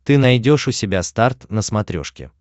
ты найдешь у себя старт на смотрешке